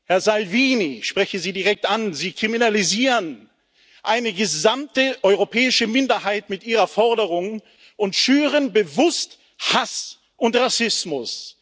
Herr Salvini, ich spreche Sie direkt an, Sie kriminalisieren eine gesamte europäische Minderheit mit Ihrer Forderung und schüren bewusst Hass und Rassismus.